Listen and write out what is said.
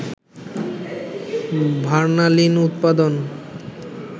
ভার্নালিন উৎপাদন